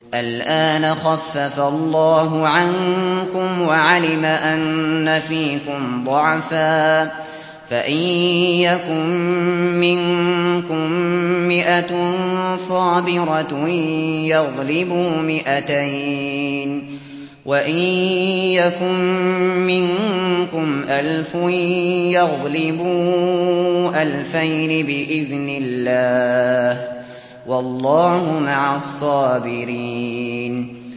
الْآنَ خَفَّفَ اللَّهُ عَنكُمْ وَعَلِمَ أَنَّ فِيكُمْ ضَعْفًا ۚ فَإِن يَكُن مِّنكُم مِّائَةٌ صَابِرَةٌ يَغْلِبُوا مِائَتَيْنِ ۚ وَإِن يَكُن مِّنكُمْ أَلْفٌ يَغْلِبُوا أَلْفَيْنِ بِإِذْنِ اللَّهِ ۗ وَاللَّهُ مَعَ الصَّابِرِينَ